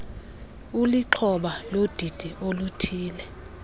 ulixhoba lodidi oluthile